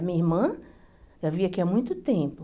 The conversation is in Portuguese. A minha irmã já vivia aqui há muito tempo.